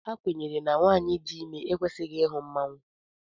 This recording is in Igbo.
A kwenyere na nwanyị dị ime ekwesịghị ịhụ mmanwụ